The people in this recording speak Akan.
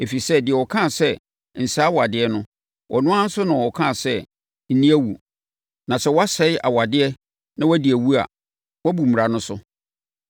Ɛfiri sɛ, deɛ ɔkaa sɛ, “Nsɛe awadeɛ” no, ɔno ara nso na ɔkaa sɛ, “Nni awu.” Na sɛ woansɛe awadeɛ na wodi awu a, woabu mmara so.